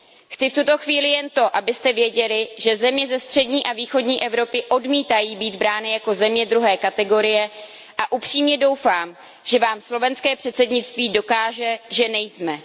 Chci v tuto chvíli jen to, abyste věděli, že země ze střední a východní Evropy odmítají být brány jako země druhé kategorie, a upřímně doufám, že vám slovenské předsednictví dokáže, že nejsme.